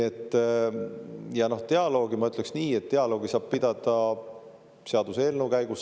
Ja dialoogi kohta ma ütleks nii, et dialoogi saab pidada seaduseelnõuga seoses.